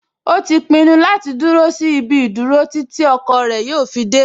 O ti pinnu láti dúró sí ibi ìdúró títí ọkọ rẹ̀ yóò fi dẹ́